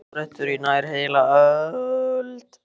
haldist óbreyttur í nær heila öld.